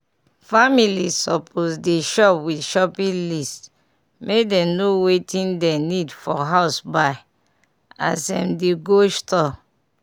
families suppose dey shop with shopping list make dem know wertting dem need for house buy as em dey go store.